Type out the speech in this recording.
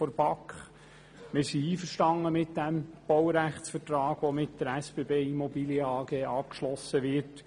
der BaK. Wir sind mit dem Baurechtsvertrag einverstanden, der mit der SBBImmobilien AG abgeschlossen wird.